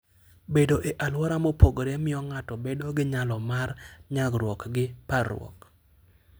Bedo e alwora mopogore miyo ng'ato bedo gi nyalo mar nyagruok gi parruok.